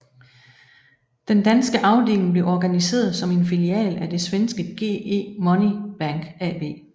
Den danske afdeling blev organiseret som en filial af det svenske GE Money Bank AB